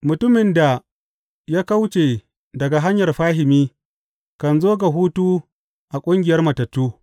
Mutumin da ya kauce daga hanyar fahimi kan zo ga hutu a ƙungiyar matattu.